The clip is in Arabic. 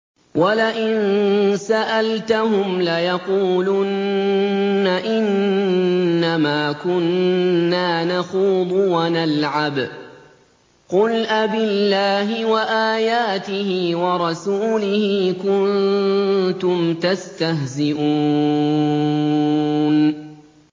وَلَئِن سَأَلْتَهُمْ لَيَقُولُنَّ إِنَّمَا كُنَّا نَخُوضُ وَنَلْعَبُ ۚ قُلْ أَبِاللَّهِ وَآيَاتِهِ وَرَسُولِهِ كُنتُمْ تَسْتَهْزِئُونَ